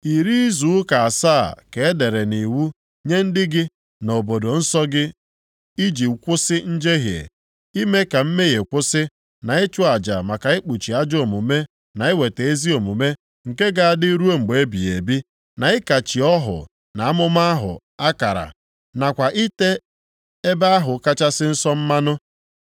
“Iri izu ụka asaa, ka e dere nʼiwu nye ndị gị na obodo nsọ gị iji kwụsị njehie, ime ka mmehie kwụsị, na ịchụ aja maka ikpuchi ajọ omume na iweta ezi omume nke ga-adị ruo mgbe ebighị ebi, na ịkachi ọhụ na amụma ahụ akara, nakwa ite Ebe ahụ Kachasị Nsọ + 9:24 Onye nsọ ahụ nke kachasị ndị nsọ mmanụ mmanụ.